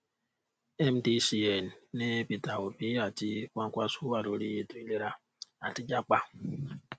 mdcn nis peter obi àti kwakwanso wà lórí ètò ìlera àti jápa